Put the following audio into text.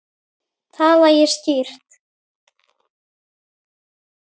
Tala ég skýrt?